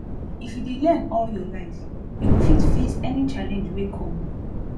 if you dey learn all your life you go fit face any challenge wey come